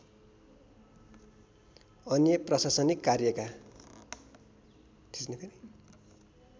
अन्य प्रशासनिक कार्यका